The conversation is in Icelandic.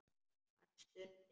Hann stundi.